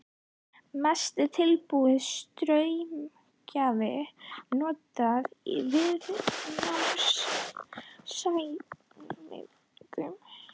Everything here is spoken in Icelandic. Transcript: Mest er tilbúinn straumgjafi notaður í viðnámsmælingum.